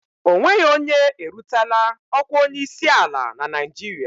O nweghị onye erutela ọkwa onyeisi ala na Naịjirịa.